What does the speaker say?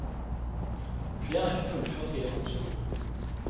Flere har ikke fullført videregående skole.